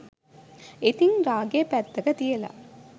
ඉතිං රාගේ පැත්තක තියලා